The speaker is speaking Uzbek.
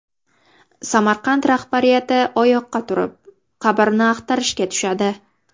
Samarqand rahbariyati oyoqqa turib, qabrni axtarishga tushadi.